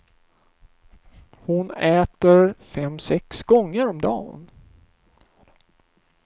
Hon äter fem sex gånger om dan.